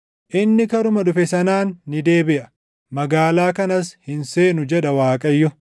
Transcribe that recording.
Inni karuma dhufe sanaan ni deebiʼa; magaalaa kanas hin seenu” jedha Waaqayyo.